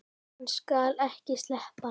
Hann skal ekki sleppa!